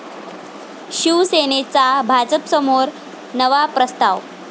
शिवसेनेचा भाजपसमोर नवा प्रस्ताव